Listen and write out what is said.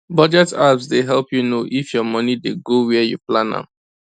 budget apps dey help you know if your money dey go where you plan am